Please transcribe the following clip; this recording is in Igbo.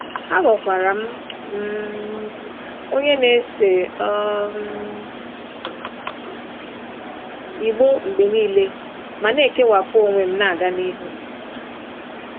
Aghọkwara m um onye na-ese um igbó mgbe nile ma na-ekewapụ onwe m na-aga n'ihu.